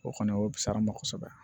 O kɔni o bi sa an ma kosɛbɛ